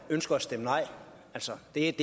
er